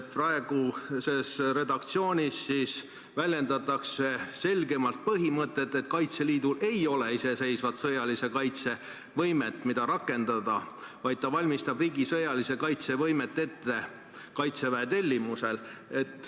Praeguses redaktsioonis väljendatakse selgemalt põhimõtet, et Kaitseliidul ei ole iseseisvat sõjalise kaitse võimet, mida rakendada, vaid ta valmistab riigi sõjalise kaitse võimet ette Kaitseväe tellimusel.